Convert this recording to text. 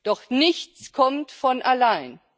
Doch nichts kommt von allein.